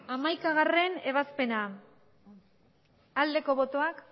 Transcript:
hamaikagarrena ebazpena aldeko botoak